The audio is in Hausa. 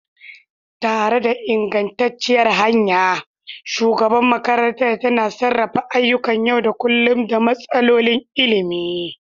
Tare da ingantacciyar hanya, shugaban makarantar yana sarrafa ayyukan yau da kullun da matsalolin ilimi.